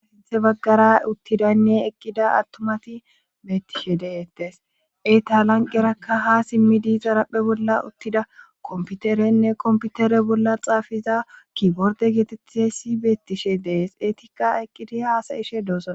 He baggara uttidaynne eqqida attomati beettishe deeettes etalanqerakka ha simmidi xarapphe bolla uttida komputerenne komputere bolla xaafiza kiborde geetettesi beettishe dees eetikka eqqidi haasayishe doosana.